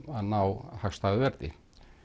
að ná hagstæðu verði